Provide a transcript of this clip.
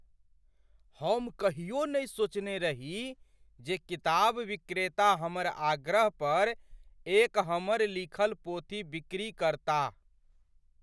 हम कहियो नहि सोचने रही जे किताब विक्रेता हमर आग्रह पर एक हमर लिखल पोथी बिक्री करताह ।